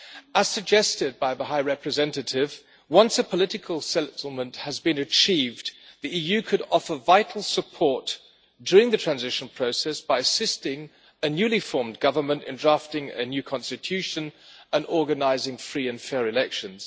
As suggested by the High Representative, once a political settlement has been achieved, the EU could offer vital support during the transition process by assisting a newly formed government in drafting a new constitution and organising free and fair elections.